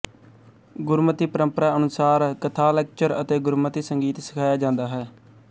ਗੁਰਮਤਿ ਪ੍ਰੰਪਰਾ ਅਨੁਸਾਰ ਕਥਾਲੈਕਚਰ ਅਤੇ ਗੁਰਮਤਿ ਸੰਗੀਤ ਸਿਖਾਇਆ ਜਾਂਦਾ ਹੈ